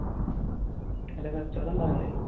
നല്ല കച്ചവടം ഉണ്ടാവും അല്ലെ?